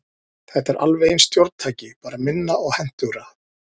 Þetta er alveg eins stjórntæki, bara minna og hentugra.